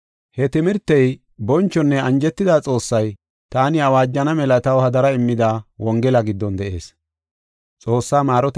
He timirtey bonchonne anjetida Xoossay taani awaajana mela taw hadara immida Wongela giddon de7ees.